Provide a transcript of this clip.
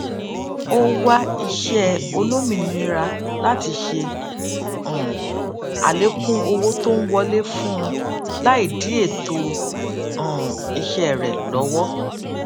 ó wá iṣẹ olómìnira láti ṣe um àlékún owó tó ń wọlé fúnun láì dí ètò um iṣẹ rẹ lọwọ